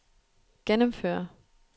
gennemføre